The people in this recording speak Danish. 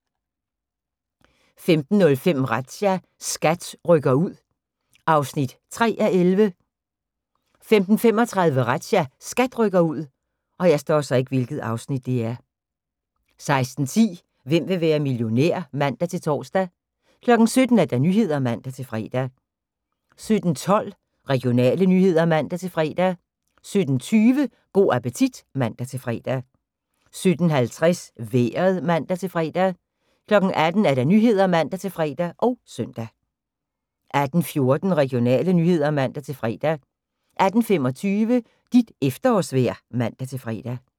15:05: Razzia – SKAT rykker ud (3:11) 15:35: Razzia – SKAT rykker ud 16:10: Hvem vil være millionær? (man-tor) 17:00: Nyhederne (man-fre) 17:12: Regionale nyheder (man-fre) 17:20: Go' appetit (man-fre) 17:50: Vejret (man-fre) 18:00: Nyhederne (man-fre og søn) 18:14: Regionale nyheder (man-fre) 18:25: Dit efterårsvejr (man-fre)